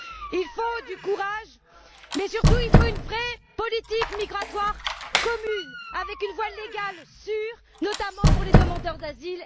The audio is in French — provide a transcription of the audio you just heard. Il faut du courage, mais il faut surtout une vraie politique migratoire commune, avec une voie légale sûre, notamment pour les demandeurs d'asile.